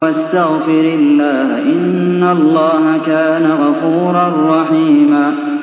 وَاسْتَغْفِرِ اللَّهَ ۖ إِنَّ اللَّهَ كَانَ غَفُورًا رَّحِيمًا